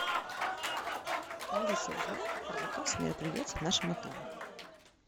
алиса узнай про заказ мероприятий в нашем отеле